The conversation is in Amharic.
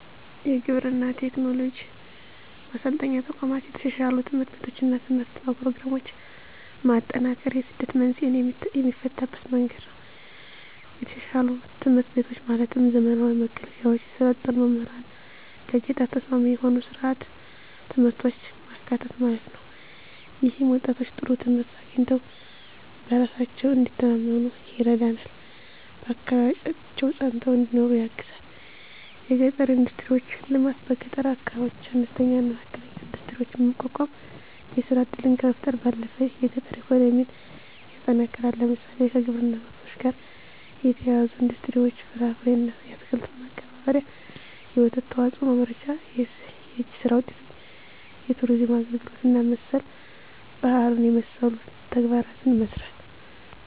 1. የግብርና ቴክኖሎጂ ማሰልጠኛ ተቋማት 2. የተሻሻሉ ትምህርት ቤቶችና የትምህርት ፕሮግራሞች ማጠናከር የስደት መንስኤን የሚፈታበት መንገድ ነው የተሻሻሉ ትምህርት ቤቶች ማለትም ዘመናዊ መገልገያዎች፣ የሰለጠኑ መምህራንና ለገጠር ተስማሚ የሆኑ ሥርዓተ ትምህርቶች ማካተት ማለት ነው። ይህም ወጣቶች ጥሩ ትምህርት አግኝተው በራሳቸው እንዲተማመኑ ይረዳልና በአካባቢያቸው ፀንተው እንዲኖሩ ያግዛል 3. የገጠር ኢንዱስትሪዎች ልማት በገጠር አካባቢዎች አነስተኛና መካከለኛ ኢንዱስትሪዎችን ማቋቋም የሥራ ዕድልን ከመፍጠር ባለፈ የገጠር ኢኮኖሚን ያጠናክራል። ለምሳሌ፣ ከግብርና ምርቶች ጋር የተያያዙ ኢንዱስትሪዎች (ፍራፍሬና አትክልት ማቀነባበሪያ፣ የወተት ተዋጽኦ ማምረቻ)፣ የእጅ ሥራ ውጤቶች፣ የቱሪዝም አገልግሎት እና መሠል ባህሉን የመሠሉ ተግባራትን መሥራት